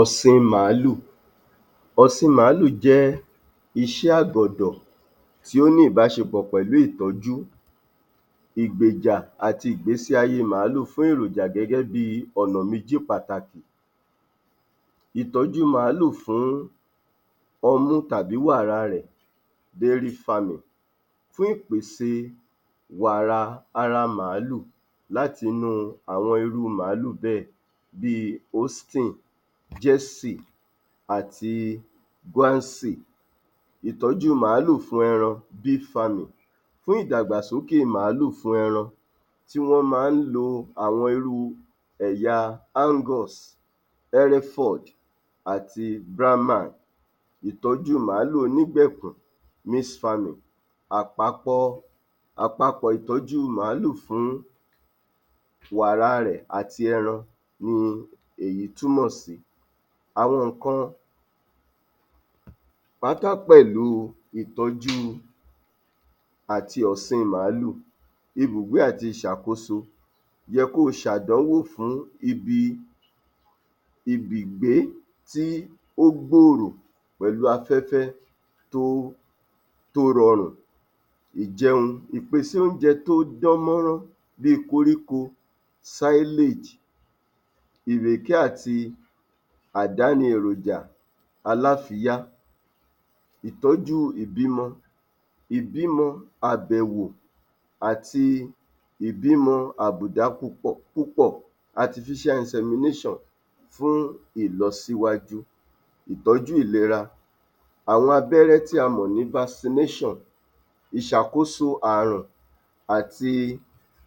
Ọ̀sìn màálù. Ọ̀sìn màálù jẹ́ iṣẹ́ agbọ̀dọ̀ tí ó ní ìbáṣepọ̀ pẹ̀lú ìtọ́jú, ìgbèjà àti ìgbésí ayé màálù fún èròjà gẹ́gẹ́ bí i ọnà méjì pàtàkì. Ìtọ́jú màálù fún ọmú tàbí wàrà a rẹ̀ rearing farming fún ìpèsè wàrà ara màálù láti inú àwọn irú màálù bẹ́ẹ̀ bí i Austin Jersey àti Bouncy. Ìtọ́jú màálù fún ẹran beef farming; fún ìdàgbàsókè màálù fún ẹran tí wọ́n máa ń lo àwọn irú ẹya Angus Hereford àti Brahman Ìtọ́jú màálù onígbẹ̀kùn mix farming; Àpapọ̀ ìtọ́jú màálù fún wàrà rẹ̀ ati ẹran ni èyí túmọ̀ sí àwọn nǹkan pátá pẹ̀lú ìtọ́jú àti ọ̀sìn màálù, ibùgbé àti ìṣàkóso yẹ kó o ṣe àdánwò fún ibùgbé tí ó gbòòrò pẹ̀lú afẹ́fẹ́ tí ó rọrùn. Ìjẹun; Ìpèsè oúnjẹ tí ó dán mọ́rán bí i Koríko, Silage, Ìrèké àti àdáni èròjà aláfiyá. Ìtọ́jú ìbímọ; Ìbímọ àbẹ̀wò àti ìbímọ àbùdá púpọ̀ artificial insemination fún ìlọsíwájú. Ìtọ́jú ìlera; Àwọn abẹ́rẹ́ tí a mọ̀ ní Vaccination, ìṣàkóso àrùn àti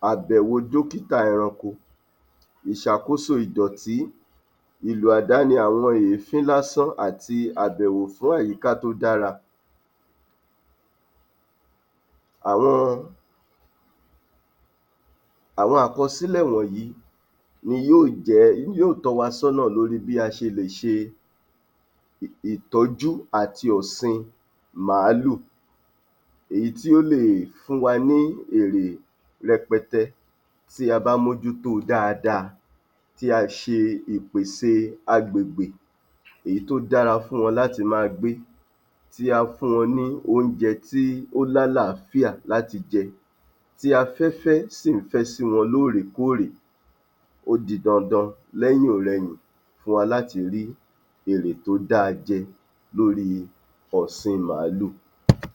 àbẹ̀wò dọ́kíta ẹranko. Ìsàkóso ìdọ̀tí; ìlò àdáni àwọn èéfín lásán àti àbẹ̀wò fún àyíká tó dára. Àwọn àkọsílẹ̀ wọ̀nyí ni yóò tọ́ wa sọ́nà lórí bí a ṣe lè ṣe ìtọ́jú àti ọ̀sin màálù èyí tí ó le è fún wa ní èrè rẹpẹtẹ tí a bá mójú tó o dáadáa tí a ṣe ìpèsè agbègbè èyí tí ó dára fún wọn láti máa gbé tí á fún wọn ní oúnjẹ tí ó ní àlááfíà láti jẹ, tí afẹ́fẹ́ sì ń fẹ́ sí wọn lóòrèkóòrè ó di dandan lẹ́yìn-ọ̀-rẹyìn fún wa láti ri èrè tó da jẹ lórí ọ̀sìn màálù.